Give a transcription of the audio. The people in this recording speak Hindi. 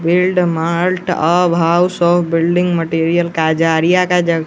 field mart house of building material Kajaria का--